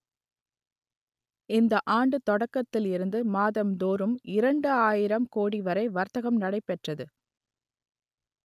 இந்த ஆண்டு தொடக்கத்தில் இருந்து மாதம் தோறும் இரண்டு ஆயிரம் கோடி வரை வர்த்தகம் நடைபெற்றது